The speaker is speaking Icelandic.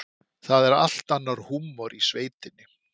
Það er allt annar húmor í sveitinni.